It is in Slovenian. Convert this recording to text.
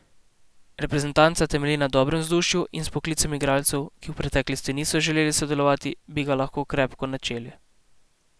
Reprezentanca temelji na dobrem vzdušju in z vpoklicem igralcev, ki v preteklosti niso želeli sodelovati, bi ga lahko krepko načeli.